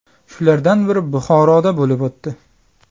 Shulardan biri Buxoroda bo‘lib o‘tdi.